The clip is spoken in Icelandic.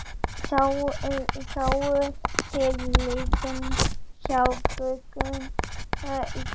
Sáuð þið leikinn hjá Frökkum í gær?